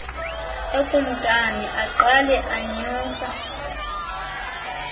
ekumkani aqale anyusa